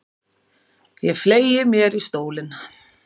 Ég fleygi mér í stólinn.